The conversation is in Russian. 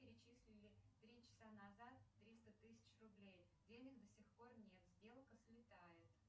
перечислили три часа назад триста тысяч рублей денег до сих пор нет сделка слетает